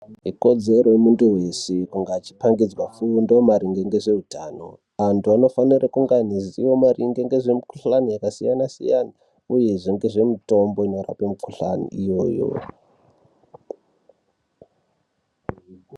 Ikodzero yemuntu weshe kunge echipangidzwe fundo marine ngezveutano. Antu anofanire kunge eiziya maringe nezvemikhuhlani yakasiyana siyana uyezve ngezvemitombo yakadai ngemukhuhlani iyoyo.